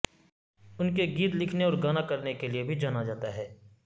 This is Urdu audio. ان کے گیت لکھنے اور گانا کرنے کے لئے بھی جانا جاتا ہے